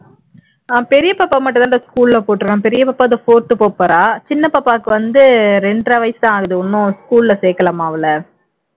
ஹம் பெரிய பாப்பா மட்டும் தான்டா school ல போட்ருக்கோம் பெரிய பாப்பா fourth போகப்போறா சின்ன பாப்பாவுக்கு வந்து இரண்டரை வயசுதான் ஆகுது இன்னும் school ல சேர்க்கலமா அவளை